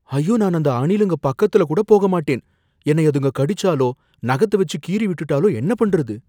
ஐயோ, நான் அந்த அணிலுங்க பக்கத்துல கூட போக மாட்டேன், என்னை அதுங்க கடிச்சாலோ நகத்த வச்சி கீறிவிட்டுட்டாலோ என்ன பண்றது